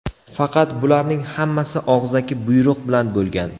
Faqat bularning hammasi og‘zaki buyruq bilan bo‘lgan.